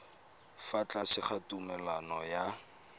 fa tlase ga tumalano ya